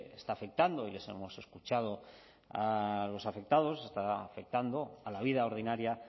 está afectando y les hemos escuchado a los afectados está afectando a la vida ordinaria